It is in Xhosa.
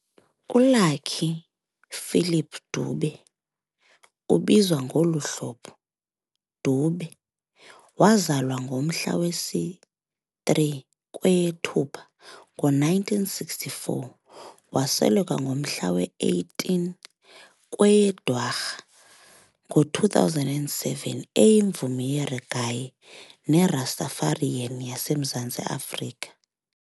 ULucky Philip Dube ubizwa ngolu hlobo, doo-beh, wazalwa ngomhla wesi-3 kukweyeThupha ngo1964 - wasweleka ngomhla we-18 kweyeDwarha ngo2007 eyimvumi yereggae neRastafarian yaseMzantsi Afrika.